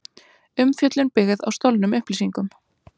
Umfjöllun byggð á stolnum upplýsingum